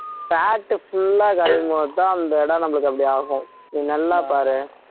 fat full ஆ கரையும் போதுதான் அந்த இடம் நம்மளுக்கு அப்படி ஆகும் நீ நல்லா பாரேன்